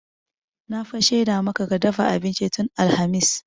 Na fa shaida maka ka dafa abincin tun alhamis.